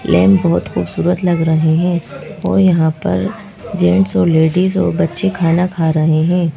Lamp बहुत खूबसूरत लग रहे हैं और यहां पर जेंट्स और लेडीज और बच्चे खाना खा रहे हैं।